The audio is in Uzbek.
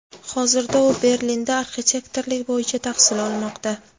Hozirda u Berlinda arxitektorlik bo‘yicha tahsil olmoqda.